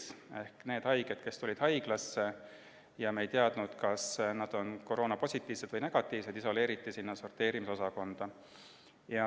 Sinna isoleeriti need haiged, kes tulid haiglasse ja kelle puhul me ei teadnud, kas nad on koroonapositiivsed või -negatiivsed.